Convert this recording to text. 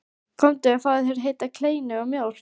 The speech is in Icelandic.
Komdu og fáðu þér heita kleinu og mjólk.